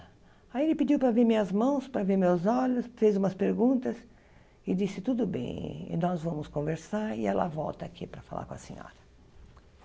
Aí ele pediu para ver minhas mãos, para ver meus olhos, fez umas perguntas, e disse, tudo bem, nós vamos conversar, e ela volta aqui para falar com a senhora.